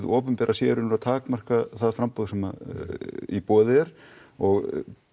opinbera sé í rauninni að takmarka það framboð sem í boði er og